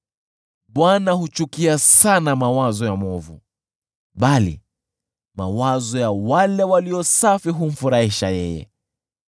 Bwana huchukia sana mawazo ya mwovu, bali mawazo ya wale walio safi humfurahisha yeye.